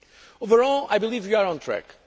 Overall, I believe we are on track.